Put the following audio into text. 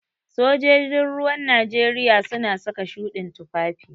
Sojojin ruwan Najeriya suna saka shuɗin tufafi.